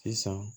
Sisan